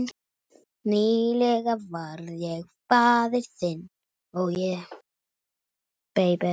Nýlega varð ég faðir.